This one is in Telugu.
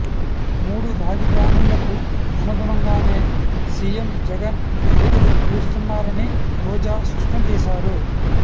మూడు రాజధానులకు అనుగుణంగానే సీఎం జగన్ అడుగులు వేస్తున్నారని రోజా స్పష్టం చేశారు